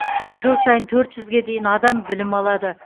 жыл сайын төрт жүзге дейін адам білім алады